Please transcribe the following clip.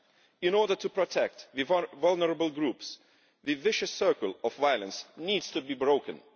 In order to protect vulnerable groups, the vicious circle of violence needs to be broken.